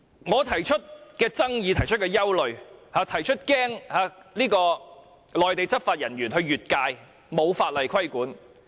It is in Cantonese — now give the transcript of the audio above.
我提出了爭議、提出的憂慮、提出擔心內地執法人員越界，沒有法例規管的問題。